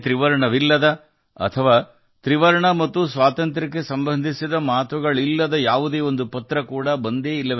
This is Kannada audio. ತ್ರಿವರ್ಣ ಧ್ವಜ ಚಿತ್ರವನ್ನು ಹೊಂದಿರದ ಅಥವಾ ತ್ರಿವರ್ಣ ಮತ್ತು ಸ್ವಾತಂತ್ರ್ಯದ ಬಗ್ಗೆ ಮಾತನಾಡದ ಯಾವುದೇ ಪತ್ರವನ್ನು ನಾನು ನೋಡಿಲ್ಲ